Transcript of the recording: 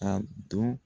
Ka don